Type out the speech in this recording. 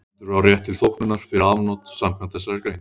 Höfundur á rétt til þóknunar fyrir afnot samkvæmt þessari grein.